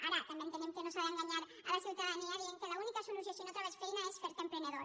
ara també entenem que no s’ha d’enganyar la ciutadania dient que l’única solució si no trobes feina és fer·te emprenedor